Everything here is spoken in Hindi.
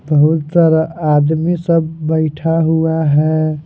बहुत सारा आदमी सब बैठा हुआ है।